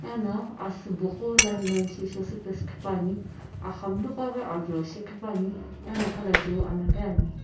ana asiibo gho line line shisii ghipane aghamlu gho ghi ajo ghipani ano khalajeuo alaghi ani.